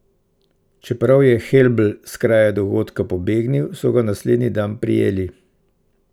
Čeprav je Helbl s kraja dogodka pobegnil, so ga naslednji dan prijeli.